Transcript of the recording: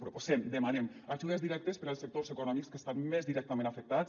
proposem demanem ajudes directes per als sectors econòmics que estan més directament afectats